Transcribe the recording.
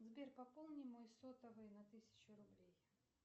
сбер пополни мой сотовый на тысячу рублей